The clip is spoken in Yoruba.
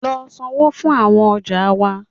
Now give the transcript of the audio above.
Lọ sańwo fún awọn ọja wa!